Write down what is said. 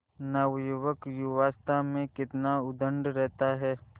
नवयुवक युवावस्था में कितना उद्दंड रहता है